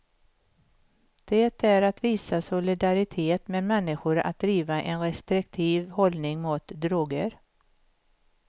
Det är att visa solidaritet med människor att driva en restriktiv hållning mot droger.